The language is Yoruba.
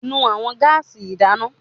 Nu awọn gaasi idana